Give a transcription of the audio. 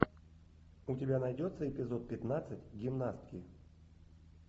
у тебя найдется эпизод пятнадцать гимнастки